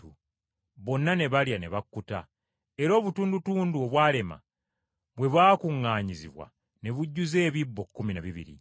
Bonna ne balya ne bakkuta, era obutundutundu obwalema bwe bwakuŋŋaanyizibwa ne bujjuza ebisero kkumi na bibiri.